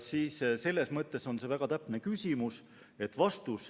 Selles mõttes oli see väga täpne küsimus.